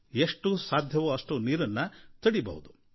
ಎಷ್ಟು ಸಾಧ್ಯವೋ ಅಷ್ಟು ನೀರನ್ನು ತಡೆಯಬೇಕು